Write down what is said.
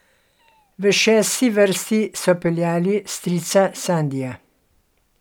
V šesti vrsti so peljali strica Sandija.